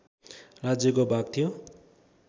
राज्यको भाग थियो